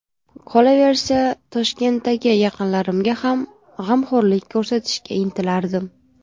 Qolaversa, Toshkentdagi yaqinlarimga ham g‘amxo‘rlik ko‘rsatishga intilardim.